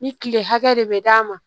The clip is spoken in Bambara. Ni kile hakɛ de bɛ d'a ma